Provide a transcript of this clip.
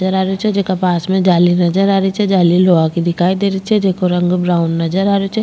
नजर आ रहे छे जेका पास में जाली नजर आ रही छे जाली लोहा की दिखाई देरी छे जेको रंग ब्राउन नजर आ रेहो छे।